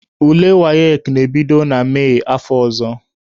Ule WAEC na-ebido na Mee afọ ọzọ.